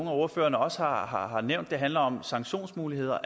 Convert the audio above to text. af ordførerne også har har nævnt handler om sanktionsmuligheder